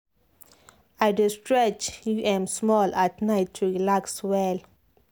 i dey stretch um small at night to relax well.